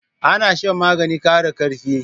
Ana shan maganin kara karfi